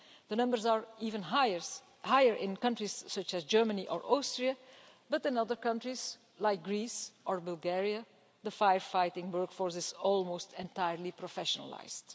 The numbers are even higher in countries such as Germany or Austria, but in other countries, like Greece or Bulgaria, the firefighting workforce is almost entirely professionalised.